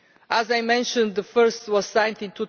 As I mentioned, the first was signed in